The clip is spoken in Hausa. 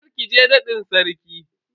Kar ki je nadin Sarkin.